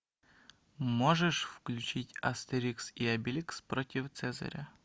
можешь включить астерикс и обеликс против цезаря